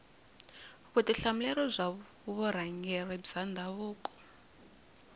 vutihlamuleri bya vurhangeri bya ndhavuko